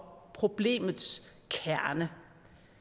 problemets kerne